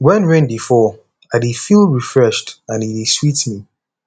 wen rain dey fall i dey feel refreshed and e dey sweet me